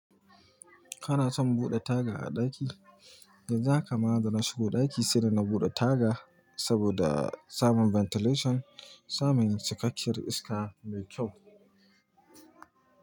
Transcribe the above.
Kana son buɗe taga a ɗaki? Yanzu haka ma dans shiga ɗaki sai da na buɗe taga, saboda samun ventilation, samun cikakkiyar iska mai kyau.